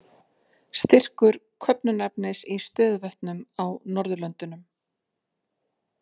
Styrkur köfnunarefnis í stöðuvötnum á Norðurlöndunum.